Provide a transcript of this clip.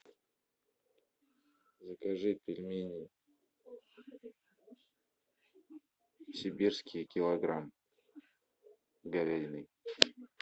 закажи пельмени сибирские килограмм с говядиной